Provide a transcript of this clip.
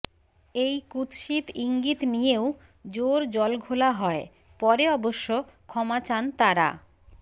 এই কুৎসিত ইঙ্গিত নিয়েও জোর জলঘোলা হয় পরে অবশ্য ক্ষমা চান তারা